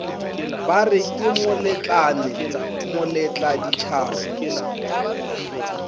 bare ke moletlane moletla ditšhaba